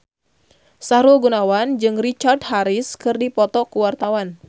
Sahrul Gunawan jeung Richard Harris keur dipoto ku wartawan